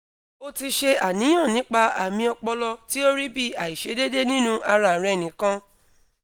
o ti se aniyan nipa ami opolo ti o ri bi aisedede ninu ara re nikan